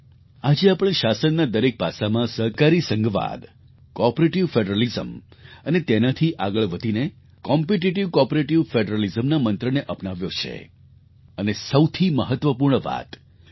આજે આપણે શાસનના દરેક પાસામાં સહકારી સંઘવાદ કૉઑપરેટિવ ફૅડરલિઝમ અને તેનાથી આગળ વધીને કમ્પિટિટિવ કૉઑપરેટિવ ફૅડરલિઝમના મંત્રને અપનાવ્યો છે અને સૌથી મહત્ત્વપૂર્ણ વાત કે ડૉ